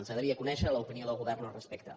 ens agradaria conèixer l’opinió del govern al respecte